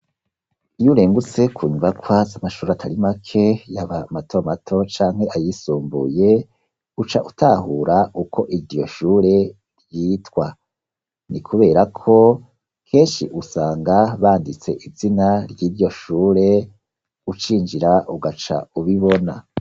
Iyo urengutse ku nyubakwa z' amashure atari make, yaba mato mato canke ayisumbuye, uca utahura ukwo iryo shure ryitwa. Ni kubera ko kenshi usanga banditse izina ry' iryo shure, ucinjira ugaca ubibona.